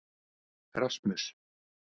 Rasmus